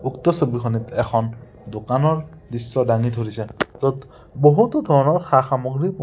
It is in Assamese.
উক্ত ছবিখনত এখন দোকানৰ দৃশ্য দাঙি ধৰিছে য'ত বহুতো ধৰণৰ সা-সামগ্ৰী--